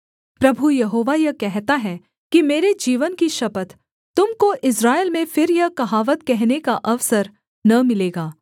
प्रभु यहोवा यह कहता है कि मेरे जीवन की शपथ तुम को इस्राएल में फिर यह कहावत कहने का अवसर न मिलेगा